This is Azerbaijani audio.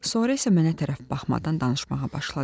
Sonra isə mənə tərəf baxmadan danışmağa başladı.